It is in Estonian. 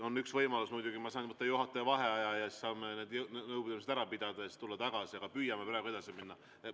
On üks võimalus, muidugi, et ma saan võtta juhataja vaheaja ja me saame need nõupidamised ära pidada ja siis tulla siia tagasi, aga püüame praegu edasi minna.